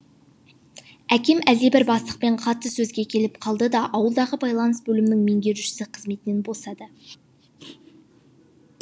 әкем әлдебір бастықпен қатты сөзге келіп қалды да ауылдағы байланыс бөлімінің меңгерушісі қызметінен босады